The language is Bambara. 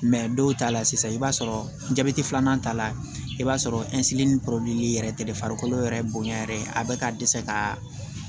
dɔw ta la sisan i b'a sɔrɔ jabɛti filanan ta la i b'a sɔrɔ yɛrɛ tɛ de farikolo yɛrɛ bonya yɛrɛ ye a be ka dɛsɛ ka